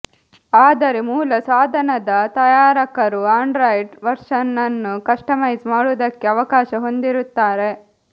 ಆದರೆ ಮೂಲ ಸಾಧನದ ತಯಾರಕರು ಆಂಡ್ರಾಯ್ಡ್ ವರ್ಷನ್ ನ್ನು ಕಸ್ಟಮೈಸ್ ಮಾಡುವುದಕ್ಕೆ ಅವಕಾಶ ಹೊಂದಿರುತ್ತಾರೆ